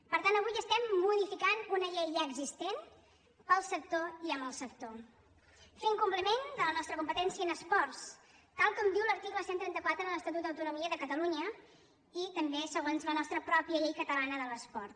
per tant avui estem modificant una llei ja existent per al sector i amb el sector fent compliment de la nostra competència en esports tal com diu l’article cent i trenta quatre de l’estatut d’autonomia de catalunya i també segons la nostra pròpia llei catalana de l’esport